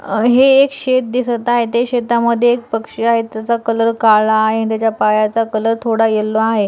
अ हे एक शेत दिसत आहे त्या शेतामध्ये एक पक्षी आहे त्याचा कलर काळा आहे त्याच्या पायाचा कलर थोडा यल्लो आहे.